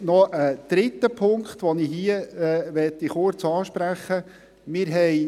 Dann noch ein dritter Punkt, den ich hier kurz ansprechen möchte.